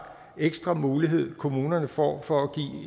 ekstra mulighed kommunerne får for at